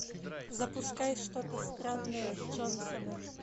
запускай что то странное с джонсонами